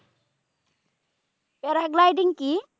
paragliding কি?